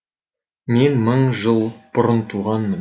мен мың жыл бұрын туғанмын